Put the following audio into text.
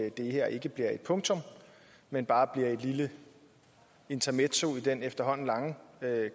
at det her ikke bliver et punktum men bare bliver et lille intermezzo i den efterhånden lange